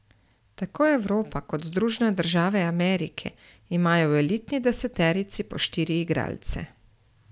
Tako Evropa kot Združene države Amerike imajo v elitni deseterici po štiri igralce.